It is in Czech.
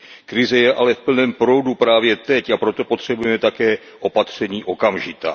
Krize je ale v plném proudu právě teď, a proto potřebujeme také opatření okamžitá.